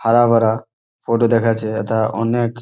হারা ভরা ফটো দেখা যাচ্ছে। যেটা অনেক--